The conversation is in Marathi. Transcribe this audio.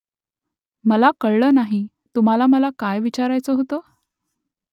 मला कळलं नाही . तुम्हाला मला काय विचारायचं होतं ?